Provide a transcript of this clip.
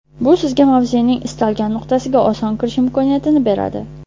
Bu sizga mavzening istalgan nuqtasiga oson kirish imkoniyatini beradi.